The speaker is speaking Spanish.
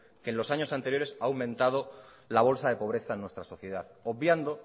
que en los años anteriores ha aumentado la bolsa de pobreza en nuestra sociedad obviando